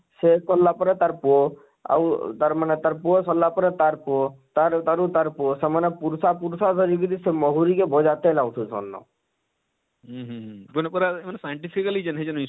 ସେ କରଲା ପରେ ତାର ପୁଅ ଆଉ ତାର ମାନେ ତାର ପୁଅ ସରଲା ପରେ ତାର ପୁଅ ତାର ଉତାରୁ ତାର ଉତାରୁ ତାର ପୁଅ ସେମାନେ ପୁରୁଷା ପୁରଷ ଧରି କରି ସେ ମହୁରୀ କେ ବଜା ତେଲ ଆଉଛନ